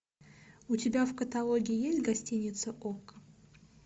у тебя в каталоге есть гостиница окко